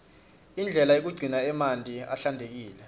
indlela yekugcina emanti ahlantekile